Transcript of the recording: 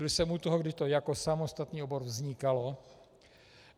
Byl jsem u toho, kdy to jako samostatný obor vznikalo.